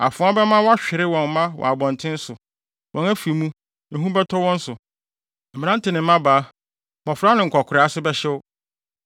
Afoa bɛma wɔahwere wɔn mma wɔ abɔnten so; wɔn afi mu, ehu bɛtɔ wɔn so. Mmerante ne mmabaa, mmofra ne nkwakoraa ase bɛhyew.